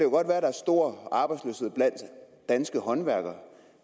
stor arbejdsløshed blandt danske håndværkere